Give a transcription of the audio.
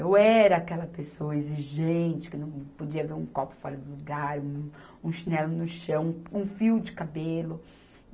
Eu era aquela pessoa exigente, que não podia ver um copo fora do lugar, um um chinelo no chão, um fio de cabelo.